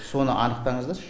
соны анықтаңыздаршы